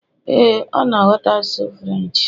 ee, ọ na ghọta asụsụ Firench